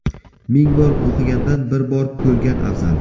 Ming bor o‘qigandan, bir kor ko‘rgan afzal.